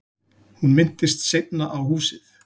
Hún minntist seinna á húsið.